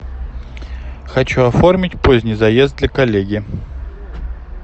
хочу оформить поздний заезд для коллеги